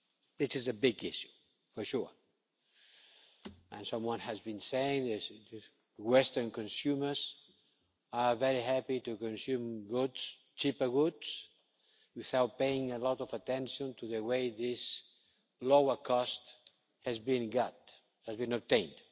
It is a big issue for sure, and someone has been saying that Western consumers are very happy to consume cheaper goods without paying a lot of attention to the way these lower costs have been obtained.